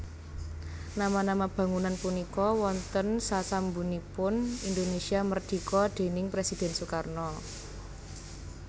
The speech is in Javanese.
Nama nama bangunan punika wonten sasampunipun Indonesia Merdika déning Presiden Sukarno